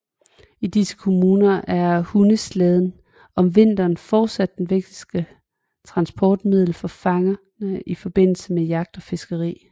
I disse kommuner er hundeslæden om vinteren fortsat et vigtigt transportmiddel for fangerne i forbindelse med jagt og fiskeri